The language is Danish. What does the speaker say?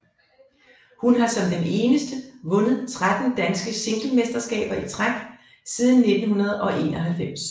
Hun har som den eneste vundet 13 danske singlemesterskaber i træk siden 1991